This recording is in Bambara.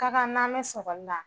Ka kan n'an me sɔgɔli la